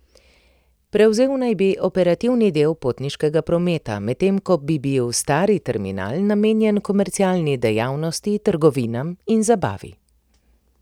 Prevzel naj bi operativni del potniškega prometa, medtem ko bi bil stari terminal namenjen komercialni dejavnosti, trgovinam in zabavi.